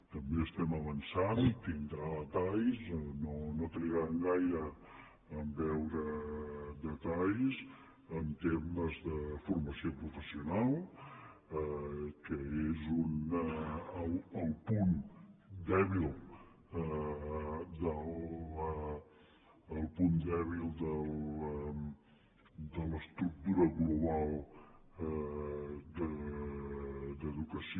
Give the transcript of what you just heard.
també estem avançant i en tindrà detalls no trigaran gaire a veure detalls en temes de formació professional que és el punt dèbil de l’estructura global d’educació